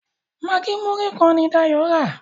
Maggi Muri kán ní Dayo rà.